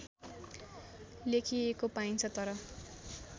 लेखिएको पाइन्छ तर